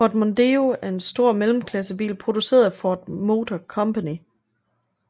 Ford Mondeo er en stor mellemklassebil produceret af Ford Motor Company